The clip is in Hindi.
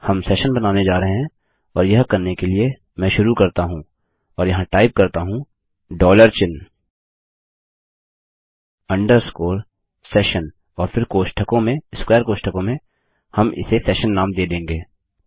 हम सेशन बनाने जा रहे हैं और यह करने के लिए मैं शुरू करता हूँ और यहाँ टाइप करता हूँ थे डॉलर चिन्ह अंडरस्कोर सेशन और फिर कोष्ठकों में स्क्वेर कोष्ठकों में हम इसे सेशन नेम दे देंगे